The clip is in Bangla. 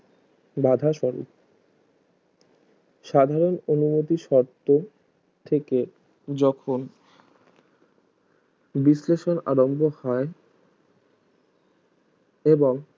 বাধা স্বরূপ সাধারণ অনুমতি শর্ত থেকে যখন বিশ্লেষণ আরাম্ভ হয় এবং